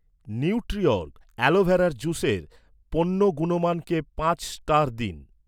Nutriorg অ্যালোভেরার জুসের পণ্য গুণমানকে পাঁচ স্টার দিন।